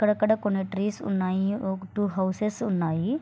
అక్కడక్కడా కొన్ని ట్రీస్ ఉన్నాయి. కొన్ని హౌసెస్ ఉన్నాయి.